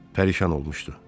Pərişan olmuşdu.